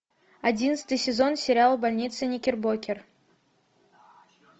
одиннадцатый сезон сериал больница никербокер